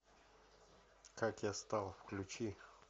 как я стал включи